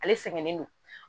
Ale sɛgɛnnen don